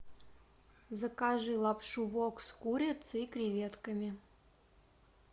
закажи лапшу вок с курицей и креветками